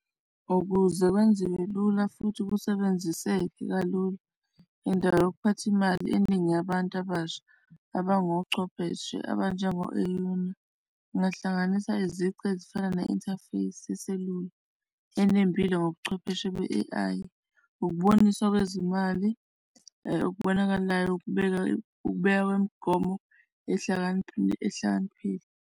Ukuze kwenziwe lula futhi kusebenziseke kalula. Indawo yokuphatha imali eningi yabantu abasha abangochwepheshe abanjengo-Euna, ungahlanganisa izici ezifana ne-interface yeselula enempilo ngobuchwepheshe be-A_I ukuboniswa kwezimali okubonakalayo ukubeka, ukubeka kwemigomo ehlakaniphile, ehlakaniphile.